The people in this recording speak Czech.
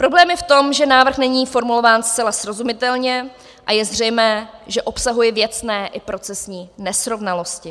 Problém je v tom, že návrh není formulován zcela srozumitelně a je zřejmé, že obsahuje věcné i procesní nesrovnalosti.